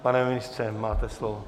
Pane ministře, máte slovo.